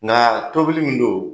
Nka tobili min don